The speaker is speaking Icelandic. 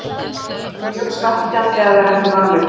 Það er mjög svekkjandi að vera ekki valinn.